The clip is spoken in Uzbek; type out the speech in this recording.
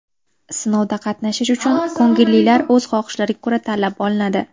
Sinovda qatnashish uchun ko‘ngillilar o‘z xohishlariga ko‘ra tanlab olinadi.